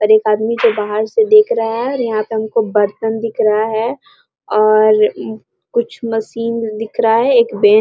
और एक आदमी जो बाहर से देख रहा है और यहाँ पे हमको बर्तन दिख रहा है और कुछ मशीन दिख रहा है एक बे --